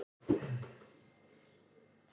Í fangelsi fyrir að kasta slökkvitæki